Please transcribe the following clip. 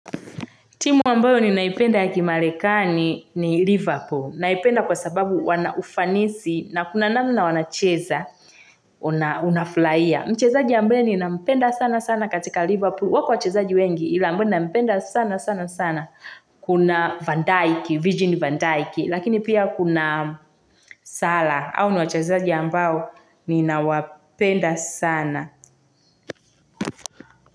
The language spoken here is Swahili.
Timu ambayo ninaipenda ya kimarekani ni Liverpool. Naipenda kwa sababu wana ufanisi na kuna namna wanacheza, unafurahia. Mchezaji ambaye ninampenda sana sana katika Liverpool. Wako wachezaji wengi ila ambaye nampenda sana sana sana. Kuna Van Dijk, Virgil Van Dijk. Lakini pia kuna salah. Hao ni wachezaji ambao ninawapenda sana.